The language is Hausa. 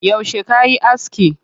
Yauce kayi aski?